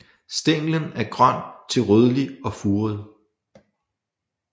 Stænglen er grøn til rødlig og furet